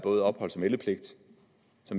så